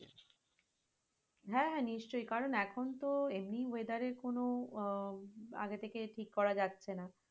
হ্যাঁ নিশ্চয়ই কারণ এখন তো এমনি weather এর কোন আহ আগে থেকে ঠিক করা যাচ্ছে না।